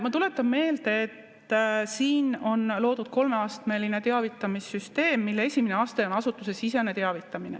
Ma tuletan meelde, et siin on loodud kolmeastmeline teavitamissüsteem, mille esimene aste on asutusesisene teavitamine.